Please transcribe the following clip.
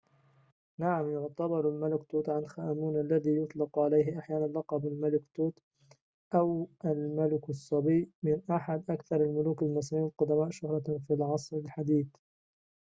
نعم يُعتبر الملك توت عنخ آمون الذي يُطلق عليه أحياناً لقب الملك توت أو الملك الصبي من أحد أكثر الملوك المصريين القدماء شهرة في العصر الحديث